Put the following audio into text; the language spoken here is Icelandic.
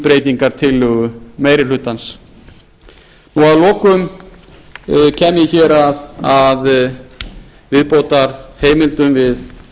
breytingartillögu meiri hlutans og að lokum kem ég hér að viðbótarheimildum við